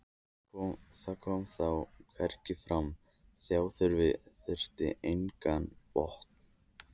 það kom þó hvergi fram: fjárþörfin þekkti engan botn.